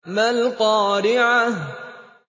مَا الْقَارِعَةُ